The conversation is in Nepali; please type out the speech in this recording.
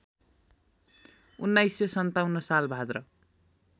१९५७ साल भाद्र